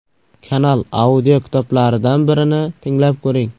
Kanal audiokitoblaridan birini tinglab ko‘ring.